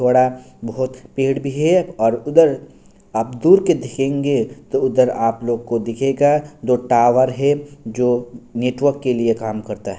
थोड़ा बहुत पेड़ भी है और उधर आप दूर के दिखेंगे तो उधर आप लोग को दिखेगा दो टॉवर है जो नेटवर्क के लिए कम करता --